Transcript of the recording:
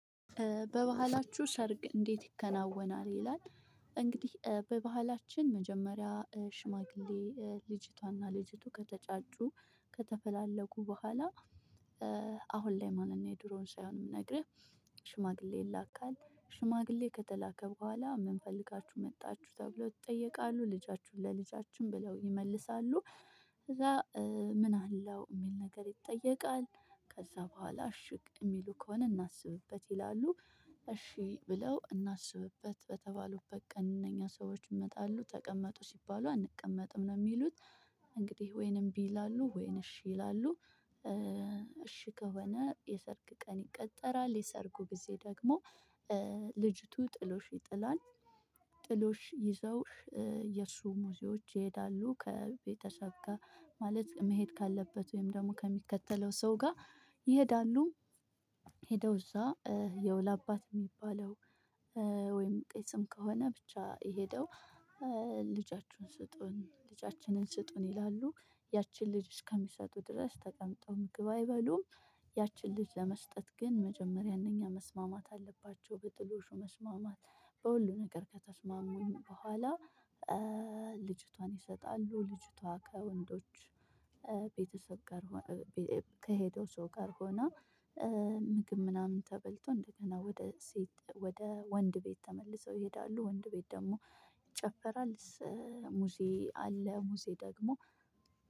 በባህላችሁ ሰርግ እንዴት ይከናወናል ይላል? እንግዲህ በባህላችን መጀመሪያ ሽማግሌ ልጅቷና ልጅቱ ከተጫጩ ከተፈላለጉ በኋላ አሁን ላይ ማንንና የድሮውን ሳይሆን የምነግርህ ሽማግሌ ይላካል። ሽማግሌ ከተላከ በኋላ ምን ፈልጋችሁ መጣችሁ ተብለው ይጠየቃሉ ልጃችሁን ለልጃችን ብለው ይመልሳሉ። ከዛ ምን አለው የሚል ነገር ይጠየቃል ከዛ በኋላ እሽ የሚሉ ከሆነ እናስብበት ይላሉ። እሺ ብለው እናስብበት በተባሉበት ቀን እነኛ ሰዎች ይመጣሉ ተቀመጡ ሲባሉ አንቀመጥም ነው የሚሉት እንግዲህ ወይን እምቢ ይላሉ ወይን እሺ ይላሉ። እሺ ከሆነ የሰርግ ቀን ይቀጠራል የሰርጉ ጊዜ ደግሞ ልጅቱ ጥሎሽ ይጥላል። ጥሎሽ ይዘው የእርሱ ሙዚዎች ይሄዳሉ ከቤተሰብ ጋር ማለት መሄድ ካለበት ወይም ደግሞ ከሚከተለው ሰው ጋር ይሄዳሉ። ሄደው እዛ የው ለአባቱ የሚባለው ወይም ቄስም ከሆነ ብቻ ሄደው ልጃችሁን ስጡን ልጃችንን ስጡን ይላሉ ያችን ልጅ እስከሚሰጡ ድረስ ተቀምጠው ምግብ አይበሉም። ያችን ልጅ ለመስጠት ግን መጀመሪያ እነኛ መስማማት አለባቸው በጥሎሹ መስማማት በሁሉም ነገር ከተስማሙ በኋላ። ልጅቷን ይሰጣሉ ልጅቷ ከወንዶች ቤተሰብ ጋር ከሄደ ሰው ጋር ሆና ምግብ ምናምን ተበልቶ እንደገና ወደ ሴት ወደ ወንድ ቤት ተመልሰው ይሄዳሉ ወንድ ቤት ደግሞ ይጨፈራል። ሙሴ አለ ሙሴ ደግሞ